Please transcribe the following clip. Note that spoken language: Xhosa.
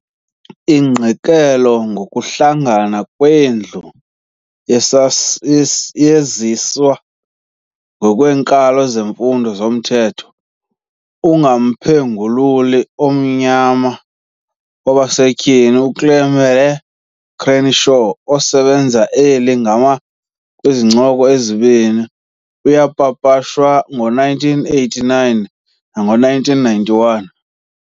Ingqikelelo yokuhlangana kweendlela yaziswa kwinkalo yezifundo zomthetho ngumphengululi omnyama wabasetyhini uKimberlé Crenshaw, osebenzise eli gama kwizincoko ezimbini. yapapashwa ngo-1989 nango-1991.